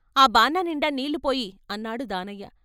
"ఆ బాననిండా నీళ్ళు పొయ్యి" అన్నాడు దానయ్య.